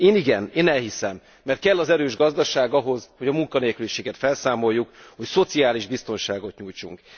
Én igen, én elhiszem, mert kell az erős gazdaság ahhoz, hogy a munkanélküliséget felszámoljuk, hogy szociális biztonságot nyújtsunk.